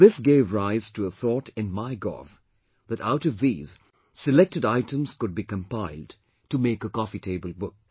And this gave rise to a thought in MyGov that out of these, selected items could be compiled to make a coffee table book